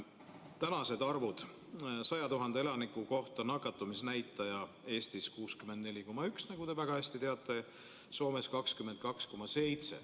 Tänane nakatumisnäitaja 100 000 elaniku kohta on Eestis 64,1, nagu te väga hästi teate, ja Soomes 22,7.